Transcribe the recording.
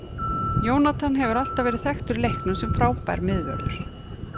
Jonathan hefur alltaf verið þekktur í leiknum sem frábær miðvörður.